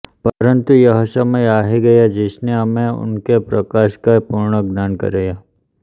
परन्तु यह समय आ ही गया जिसने हमें उनके प्रकाश का पूर्ण ज्ञान कराया